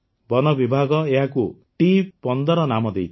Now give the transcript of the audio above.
ବନବିଭାଗ ଏହାକୁ ଟି୧୫ ନାମ ଦେଇଥିଲା